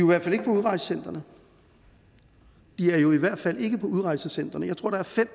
i hvert fald ikke på udrejsecentrene de er jo i hvert fald ikke på udrejsecentrene jeg tror der er fem